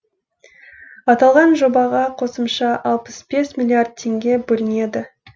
аталған жобаға қосымша алпыс бес миллиард теңге бөлінеді